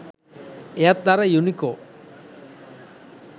එයත් අර යුනිකෝ